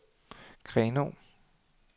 Grenaa